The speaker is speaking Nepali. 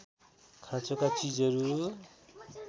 खाँचोका चीजहरू